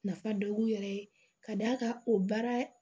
Nafa dɔ b'u yɛrɛ ye ka d'a kan o baara